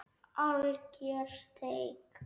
Alger steik